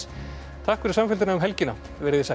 takk fyrir samfylgdina um helgina veriði sæl